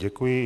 Děkuji.